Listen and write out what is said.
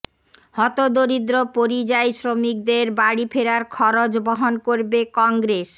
হতদরিদ্র পরিযায়ী শ্রমিকদের বাড়ি ফেরার খরচ বহন করবে কংগ্রেস